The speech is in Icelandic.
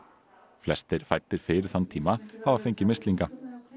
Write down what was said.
flestir fæddir fyrir þann tíma hafa fengið mislinga